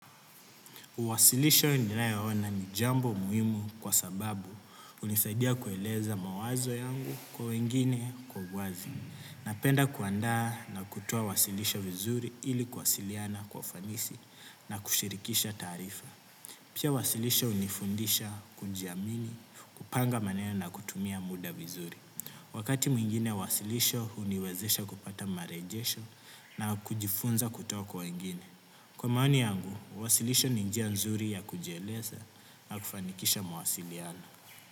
Uwasilisho ninayaona ni jambo muhimu kwa sababu hunisaidia kueleza mawazo yangu kwa wengine kwa uwazi. Napenda kuandaa na kutoa uwasilisho vizuri ili kuwasiliana kwa ufanisi na kushirikisha taarifa. Pia wasilisho hunifundisha kujiamini, kupanga maneno na kutumia muda vizuri. Wakati mwingine wasilisho huniwezesha kupata marejesho na kujifunza kutoka kwa wengine. Kwa maoni yangu, uwasilisho ni njia nzuri ya kujieleza na kufanikisha mawasiliano.